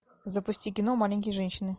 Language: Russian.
запусти кино маленькие женщины